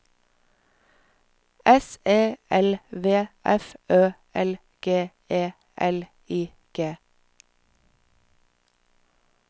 S E L V F Ø L G E L I G